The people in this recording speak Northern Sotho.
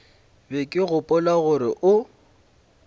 be ke gopola gore o